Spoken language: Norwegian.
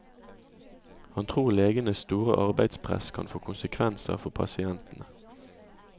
Han tror legenes store arbeidspress kan få konsekvenser for pasientene.